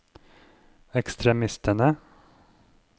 ekstremistene